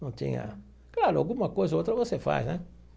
Não tinha... Claro, alguma coisa ou outra você faz, né?